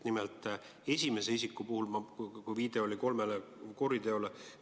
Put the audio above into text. Nimelt, esimese isiku puhul viidati kolmele kuriteole.